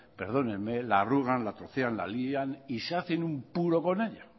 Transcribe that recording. perdónenme la arrugan la trocean la lidian y se hacen un puro con ella